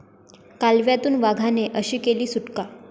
कालव्यातून वाघाने अशी केली सुटका